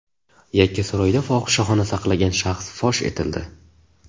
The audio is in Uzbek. Yakkasaroyda fohishaxona saqlagan shaxs fosh etildi.